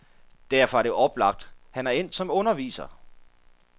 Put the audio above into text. Derfor er det oplagt, han er endt som underviser.